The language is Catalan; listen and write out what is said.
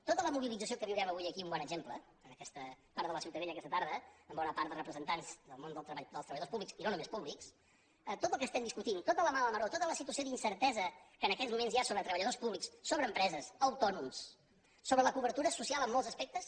tota la mobilització que en viurem avui aquí un bon exemple en aquest parc de la ciutadella aquesta tarda en bona part de representants del món dels treballadors públics i no només públics tot el que estem discutint tota la mala maror tota la situació d’incertesa que en aquests moments hi ha sobre treballadors públics sobre empreses autònoms sobre la cobertura social en molts aspectes